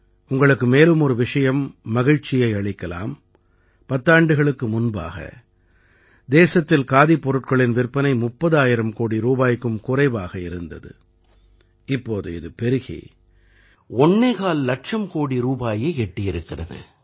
உங்களுக்கு மேலும் ஒரு விஷயம் மகிழ்ச்சியை அளிக்கலாம் பத்தாண்டுகளுக்கு முன்பாக தேசத்தில் காதிப் பொருட்களின் விற்பனை 30000 கோடி ரூபாய்க்கும் குறைவாக இருந்தது இப்போது இது பெருகி ஒண்ணேகால் இலட்சம் கோடி ரூபாயை எட்டியிருக்கிறது